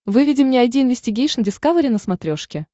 выведи мне айди инвестигейшн дискавери на смотрешке